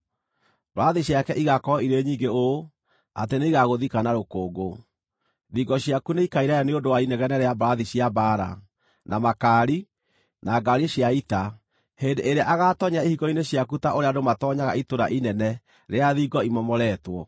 Mbarathi ciake igaakorwo irĩ nyingĩ ũũ atĩ nĩigagũthika na rũkũngũ. Thingo ciaku nĩikainaina nĩ ũndũ wa inegene rĩa mbarathi cia mbaara, na makaari, na ngaari cia ita hĩndĩ ĩrĩa agaatoonyera ihingo-inĩ ciaku ta ũrĩa andũ matoonyaga itũũra inene rĩrĩa thingo imomoretwo.